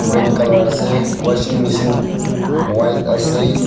Red colour ase washing machine white ase.